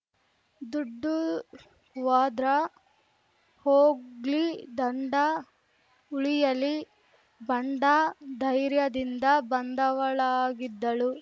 ದುಡ್ಡು ಹ್ವಾದ್ರ ಹೋಗ್ಲಿ ದಂಡ ಉಳಿಯಲಿ ಬಂಡ ಧೈರ್ಯದಿಂದ ಬಂದವಳಾಗಿದ್ದಳು